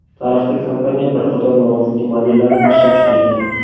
Tarixda kompaniya bir qator noodatiy modellarni ishlab chiqargan.